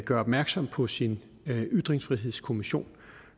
gør opmærksom på sin ytringsfrihedskommission